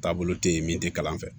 Taabolo te yen min te kalan fɛ